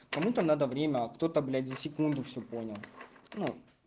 кому-то надо время а кто-то блять за секунду все понял ну